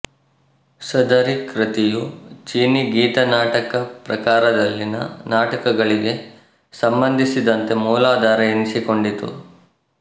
ಸದರಿ ಕೃತಿಯು ಚೀನೀ ಗೀತನಾಟಕ ಪ್ರಕಾರದಲ್ಲಿನ ನಾಟಕಗಳಿಗೆ ಸಂಬಂಧಿಸಿದಂತೆ ಮೂಲಾಧಾರ ಎನಿಸಿಕೊಂಡಿತು